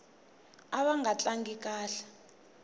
ava nga tlangi kahle